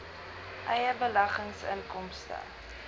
eie beleggings inkomste